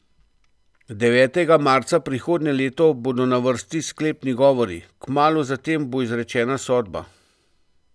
Devetega marca prihodnje leto bodo na vrsti sklepni govori, kmalu zatem bo izrečena sodba.